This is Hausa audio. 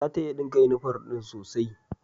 Zata iya dinka yunifom din sosai.